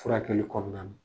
Furakɛli kɔnɔna na.